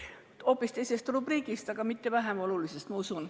Minu kõne on hoopis teisest rubriigist, aga mitte vähem olulisest, ma usun.